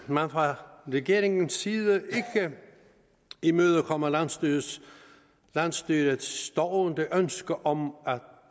at man fra regeringens side ikke imødekommer landsstyrets landsstyrets stående ønske om